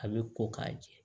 A bɛ ko k'a jɛ